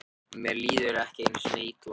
Mér líður ekki einu sinni illa.